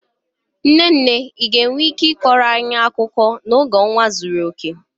Nne nne, ị ga-enwe ike ịkọrọ anyị akụkọ n'oge ọnwa zuru oke?